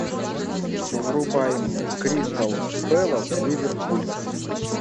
врубай мне кристал пэлас ливерпуль